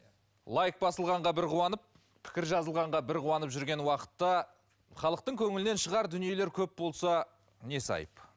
лайк басылғанға бір қуанып пікір жазылғанға бір қуанып жүрген уақытта халықтың көңілінен шығар дүниелер көп болса несі айып